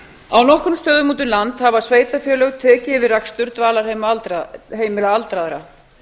á nokkrum stöðum úti um land hafa sveitarfélög yfirtekið rekstur dvalarheimila aldraðra